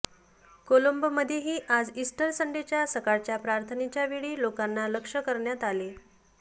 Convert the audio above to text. कोलंबोमध्येही आज ईस्टर संडेच्या सकाळच्या प्रार्थनेच्या वेळी लोकांना लक्ष्य करण्यात आले